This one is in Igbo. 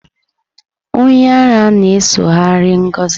Onye ara a na-esoghari Ngozi.